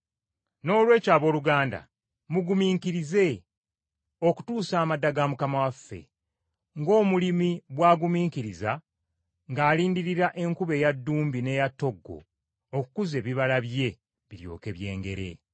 Noolwekyo abooluganda mugumiikirize, okutuusa amadda ga Mukama waffe, ng’omulimi bw’agumiikiriza ng’alindirira enkuba eya ddumbi n’eya ttoggo okukuza ebibala bye biryoke byengere.